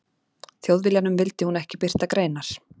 Þjóðviljanum vildi hún ekki birta greinar.